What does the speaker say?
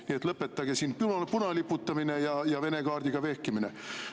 Nii et lõpetage siin punaliputamine ja Vene kaardiga vehkimine.